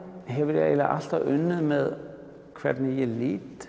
hef ég eiginlega alltaf unnið með hvernig ég lít